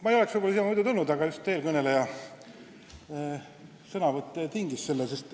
Ma ei oleks siia muidu tulnud, aga eelkõneleja sõnavõtt ikkagi tingis selle.